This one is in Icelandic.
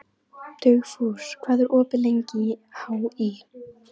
Dugfús, hvað er opið lengi í HÍ?